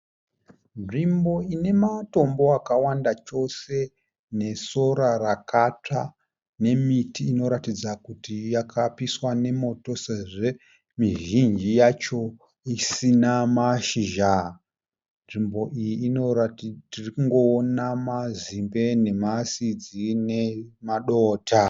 Nzvimbo ine matombo akawanda chose nesora rakatsva nemiti inoratidza kuti yakapiswa nemoto sezvo mizhinji yacho isina mashizha. Nzvimbo iyi tiri kungoona mazimbe nemasidzi nemadota.